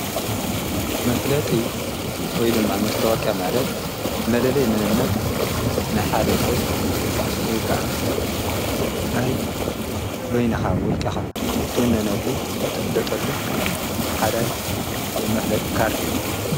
መፍለጢ ወይ ድማ መስተዋቅያ ማለት መለለይ ምንነት ናይ ሓደ ሰብ ወይ ከዓ ናይ በይንኻ ወልቃኻ እትውነነሉ እትፍለጠሉ ሓደ መፍለጢ ካርድእዩ